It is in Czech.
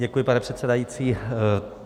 Děkuji, pane předsedající.